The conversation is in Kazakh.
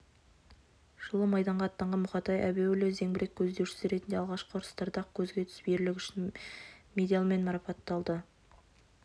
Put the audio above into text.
жылы майданға аттанған мұқатай әбеуұлы зеңбірек көздеушісі ретінде алғашқы ұрыстарда-ақ көзге түсіп ерлігі үшін медалімен марапатталады